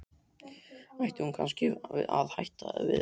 Ætti hún kannski að hætta við þetta?